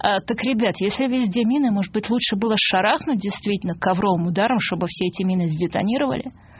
аа так ребят если видите мины может быть лучше было шарахнуть действительно ковровым ударом чтобы все эти мины с детонировали